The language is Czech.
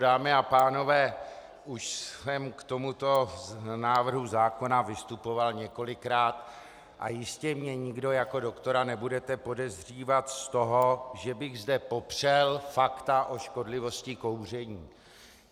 Dámy a pánové, už jsem k tomuto návrhu zákona vystupoval několikrát a jistě mě nikdo jako doktora nebudete podezřívat z toho, že bych zde popřel fakta o škodlivosti kouření.